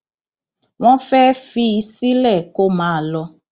wọn fẹẹ fi í sílẹ kó máa lọ